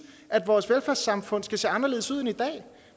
at vores velfærdssamfund skal se anderledes ud end i dag